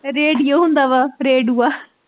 radio ਹੁੰਦਾ ਵਾ ਰੇਡਊਆ